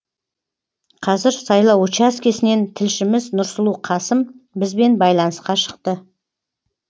қазір сайлау учаскесінен тілшіміз нұрсұлу қасым бізбен байланысқа шықты